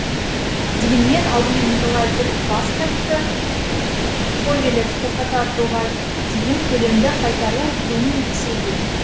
дегенмен алдымен николай бір бас тартты повелев тоқтата тұруға дейін төлемді қайтару бруни ресейге